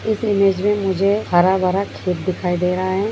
इस इमेज मे मुजे हरा भरा खेत दिखाई दे रहा है।